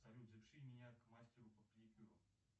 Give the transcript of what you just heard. салют запиши меня к мастеру по педикюру